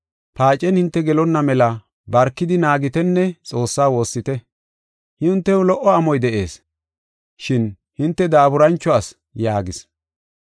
Paacen hinte gelonna mela barkidi naagitenne Xoossaa woossite. Hintew lo77o amoy de7ees, shin hinte daaburancho asi” yaagis.